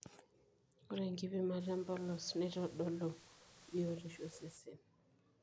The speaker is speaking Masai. ore enkipimata empolos neitodolu biotishu osesen